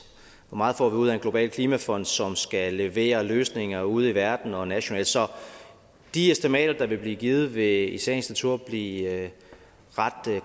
hvor meget får vi ud af en global klimafond som skal levere løsninger ude i verden og nationalt så de estimater der vil blive givet vil i sagens natur blive ret